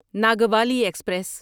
Nagavali express